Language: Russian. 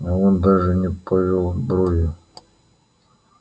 а он даже не повёл бровью